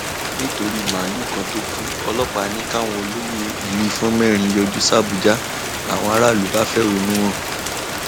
nítorí màálùú kan tó kù ọlọpàá ní káwọn olóyè ìlú ìfọn mẹrin yọjú sàbújá làwọn aráàlú bá fẹhónú hàn